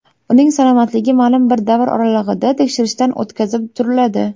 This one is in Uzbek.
Uning salomatligi ma’lum bir davr oralig‘ida tekshirishdan o‘tkazib turiladi.